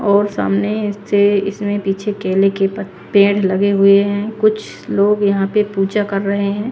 और सामने से इसमें पीछे केले के पेड़ लगे हुए हैं कुछ लोग यहां पे पूजा कर रहे हैं।